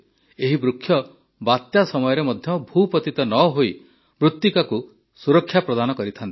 ଏହି ବୃକ୍ଷ ବାତ୍ୟା ସମୟରେ ମଧ୍ୟ ଭୂପତିତ ନ ହୋଇ ମୃତିକାକୁ ସୁରକ୍ଷା ପ୍ରଦାନ କରିଥାନ୍ତି